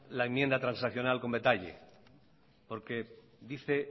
la enmienda transaccional con detalle porque dice